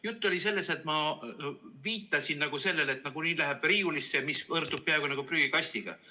Jutt oli sellest, nagu oleksin ma viidanud sellele, et nagunii läheb riiulisse, mis võrdub peaaegu nagu prügikastiga.